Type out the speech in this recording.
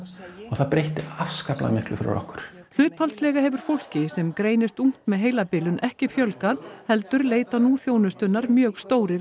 það breytti afskaplega miklu fyrir okkur hlutfallslega hefur fólki sem greinist ungt með heilabilun ekki fjölgað heldur leita nú þjónustunnar mjög stórir